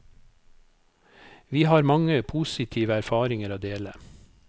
Vi har mange positive erfaringer å dele.